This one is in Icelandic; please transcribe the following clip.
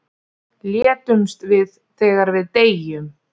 létumst við þegar við deyjum